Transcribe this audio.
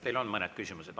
Teile on mõned küsimused.